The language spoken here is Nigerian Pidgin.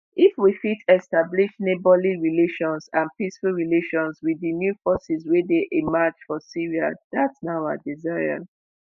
if we fit establish neighbourly relations and peaceful relations with di new forces wey dey emerge for syria dat na our desire